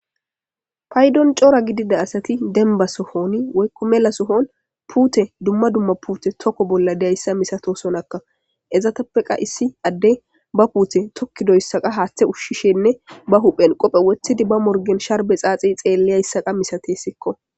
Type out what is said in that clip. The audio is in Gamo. Paydon cora gidida asati denba sohoni woykko mela sohon puute dumma dumma puute tokko bolla dyayssa misato sonakka ezatappeqa issi adde ba puute tokki doyssaqa haaththe ushshishenne ba huphen qophe wothidi ba morgen sharbe xaaxi xeelleyayssaqa misate sikko.